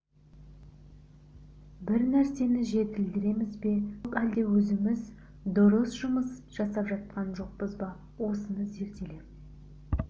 бір нәрсені жетілдіреміз бе жоқ әлде өзіміз дұрыс жұмыс жасап жатқан жоқпыз ба осыны зерделеп